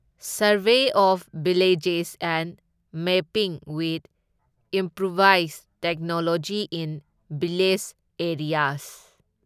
survey of villages and mapping with improvised technology in village areas